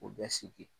O bɛ sigi